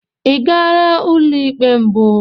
Ị gara ụlọ ikpe mbụ?